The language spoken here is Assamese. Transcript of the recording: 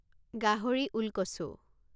গাহৰি ওলকচু